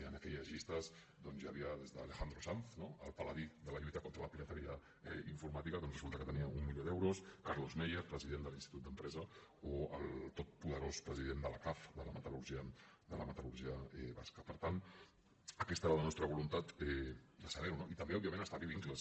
en aquelles llistes doncs hi havia des d’alejandro sanz el paladí de la lluita contra la pirateria informàtica doncs resulta que tenia un milió d’euros carlos meier president de l’institut d’empresa o el totpoderós president de la caf de la metalper tant aquesta era la nostra voluntat de saber ho no i també òbviament establir vincles